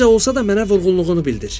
Necə olsa da mənə vurğunluğunu bildir.